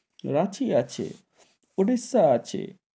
রাঁচি আছে, ওডিশা আছে,